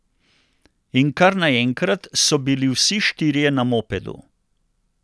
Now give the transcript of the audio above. In kar naenkrat so bili vsi štirje na mopedu.